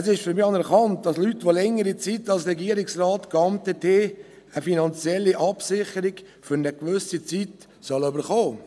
Für mich ist es anerkannt, dass Leute, die längere Zeit als Regierungsrat geamtet haben, eine finanzielle Absicherung über eine gewisse Zeit erhalten sollen.